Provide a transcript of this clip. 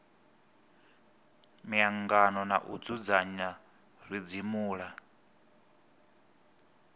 miangano na u dzudzanya zwidzimula